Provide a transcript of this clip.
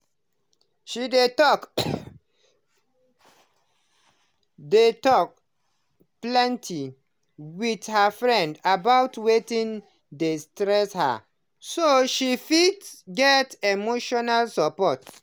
she dey talk dey talk openly with her friends about wetin dey stress her so she fit get emotional support.